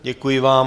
Děkuji vám.